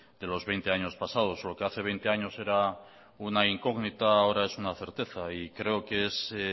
de los veinte años pasados lo que hace veinte años era una incógnita ahora es una certeza y creo que es